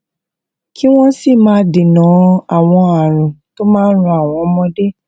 kí wón sì máa dènà àwọn àrùn tó máa ran àwọn ọmọdé